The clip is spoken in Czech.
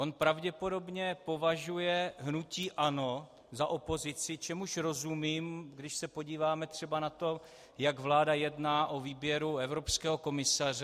On pravděpodobně považuje hnutí ANO za opozici, čemuž rozumím, když se podíváme třeba na to, jak vláda jedná o výběru evropského komisaře.